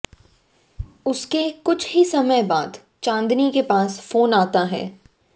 उसके कुछ ही समय बाद चाँदनी के पास फोन आता है